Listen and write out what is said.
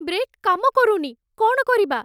Brake କାମ କରୁନି । କ'ଣ କରିବା?